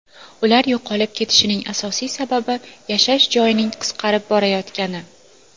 Ular yo‘qolib ketishining asosiy sababi yashash joyining qisqarib borayotgani.